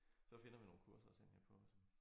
Så finder vi nogle kurser at sende jer på som